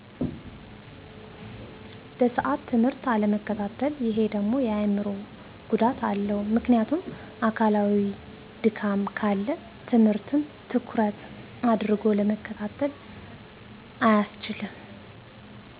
በሠአት ትምህርት አለመከታተል እሄደሞ የአምሮጉዳት አለው ምክንያቱም አካላዊ ድካም ካለ ትምህርትን ትኩረት አድርጎ ለመከታተል አያስችልም